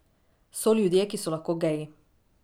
So ljudje, ki so lahko geji.